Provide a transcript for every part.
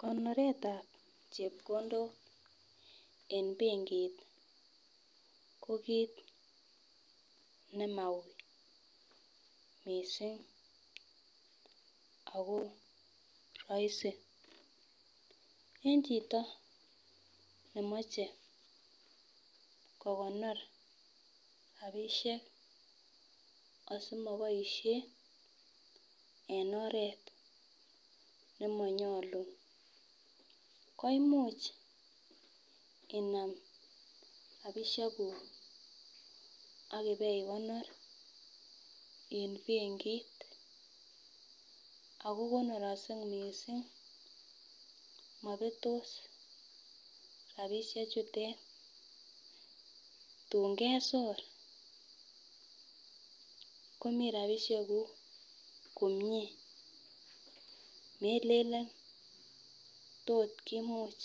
Konoretab chepkondok eng penkit ko kiit ne ma uy mising' ako rahisi. Eng' chito ne mache kokonor rapishek asimapaishe eng oret ne manyolu koimuch inam rapishekuk akipoikonor en penkit ako konoraksei mising'. Mapetos rapishechuton .Tuun kesor, komi rapishekuk komie. Melelen tot kimuch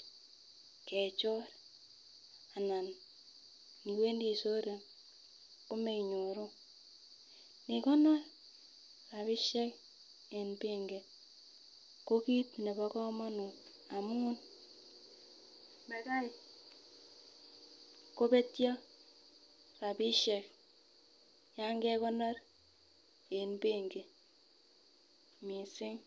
kechor anan niwendi isoren komenyoru. Ikonor rapishek eng penki ko kit nepo kamanut amuun makoi kopetio rapishek ya kekonor en penki mising.